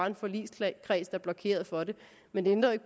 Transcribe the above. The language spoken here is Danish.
en forligskreds der blokerer for det men det ændrer jo